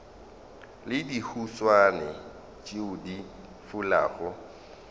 le dihuswane tšeo di fulago